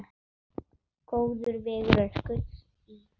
Góður vegur er gulls ígildi.